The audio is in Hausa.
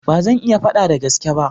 Ba zan iya fada da gaske ba.